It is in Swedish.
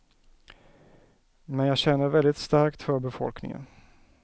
Men jag känner väldigt starkt för befolkningen.